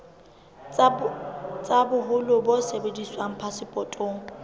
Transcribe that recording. tsa boholo bo sebediswang phasepotong